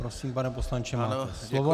Prosím, pane poslanče, máte slovo.